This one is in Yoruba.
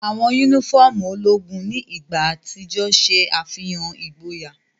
Awọn unifọmú ologun ni igba atijọ ṣe afihan igboya.